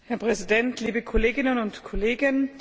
Herr Präsident, liebe Kolleginnen und Kollegen!